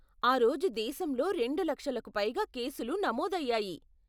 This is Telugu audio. ఆ రోజు దేశంలో రెండు లక్షలకు పైగా కేసులు నమోదు అయ్యాయి.